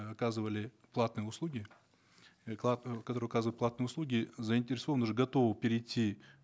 э оказывали платные услуги э которые оказывают платные услуги заинтересованы уже готовы перейти